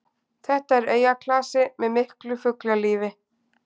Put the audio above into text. Þetta er eyjaklasi með miklu fuglalífi